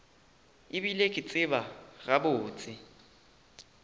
e bile ke tseba gabotse